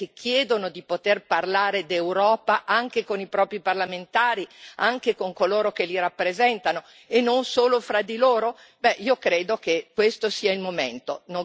Vuole sentire la voce dei cittadini europei che chiedono di poter parlare d'Europa anche con i propri parlamentari, anche con coloro che li rappresentano e non solo fra di loro?